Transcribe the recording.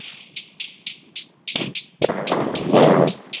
ஆஹ் உண்மதான்.